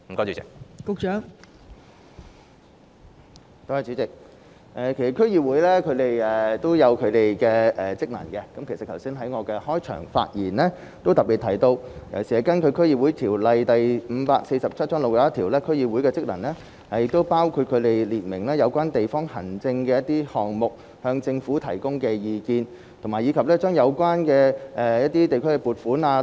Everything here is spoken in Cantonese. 代理主席，區議會有其職能，而我剛才在開場發言中也特別提到，根據《區議會條例》第61條，區議會的職能包括就相關地方的指定事務向政府提供意見，以及善用有關的地區撥款。